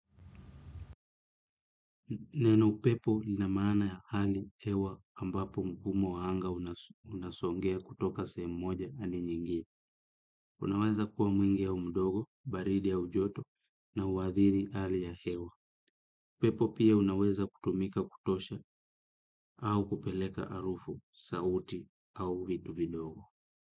Neno upepo lina maana ya hali hewa ambapo mkumo wa anga unasongea kutoka sehemu moja hadi nyingine. Unaweza kuwa mwingi au mdogo, baridi au joto na uhadhiri hali ya hewa. Upepo pia unaweza kutumika kutosha au kupeleka harufu, sauti au vitu vidogo.